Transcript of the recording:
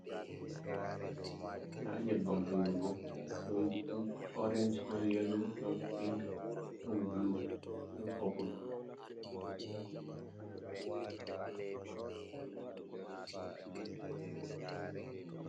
Nda nyabbam hunduko, ɗon orenj, ɗon yalo, ɗon pink, ɗon bulu ɗon popul.